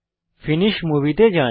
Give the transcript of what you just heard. finish movie তে যান